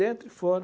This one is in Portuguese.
Dentro e fora.